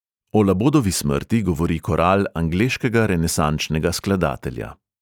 O labodovi smrti govori koral angleškega renesančnega skladatelja.